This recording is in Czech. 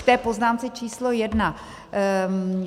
K té poznámce číslo jedna.